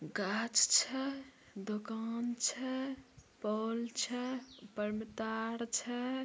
कांच है दुकान है पोल है पेड़ पौधा है |